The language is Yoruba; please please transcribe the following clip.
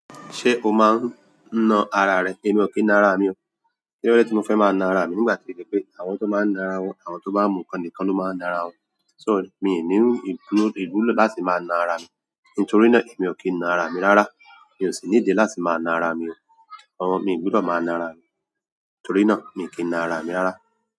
Ṣé o máa ń na ara rẹ? Èmi ò kí ń na ara mi o. Kí ló dé tí mo fẹ́ máa na ara mi? Nígbà tí ìdí pé àwọn tó máa ń na ara wọn, àwọn tó bá mu ǹkan nìkan ló máa ń na ara wọn. So mi ò ní ìbúlo, ìbúlo láti máa na ara mi. Nítorí náà, èmi ò kí ń na ara mi rárá. Mi ò sì ní ìdí láti máa na ara mi o. Àwọn, mi ò gbúdọ̀ máa na ara mi. Nítorí náà, èmi ò kí ń na ara mi rárá.